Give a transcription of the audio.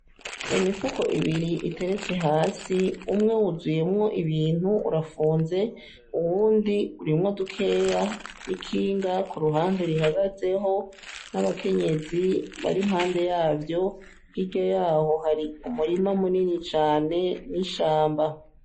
Imifuko ibiri iteretse hasi ,umwe wuzuyemwo ibintu urafunze , uwundi urimwo dukeya n'ikinga kuruhande rihagazeho, n'abakenyezi bari impande yavyo, hirya yaho hari umurima munini cane n'ishamba.